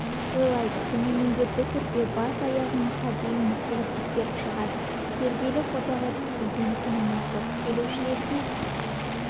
ойлайды және міндетті түрде бас-аяғымызға дейін мұқият тексеріп шығады келгелі фотоға түспеген күніміз жоқ келушілерге